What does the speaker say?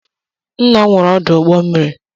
Nna'm nwere ọdụ ụgbọ mmiri.